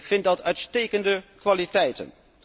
Ik vind dat uitstekende kwaliteiten.